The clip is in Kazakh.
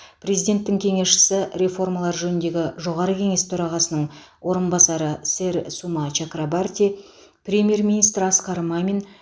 президенттің кеңесшісі реформалар жөніндегі жоғары кеңес төрағасының орынбасары сэр сума чакрабарти премьер министр асқар мамин